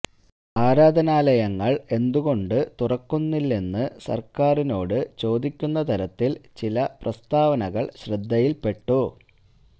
ആരാധനാലയങ്ങള് എന്തുകൊണ്ട് തുറക്കുന്നില്ലെന്ന് സര്ക്കാരിനോട് ചോദിക്കുന്ന തരത്തില് ചില പ്രസ്താവനകള് ശ്രദ്ധയില്പെട്ടു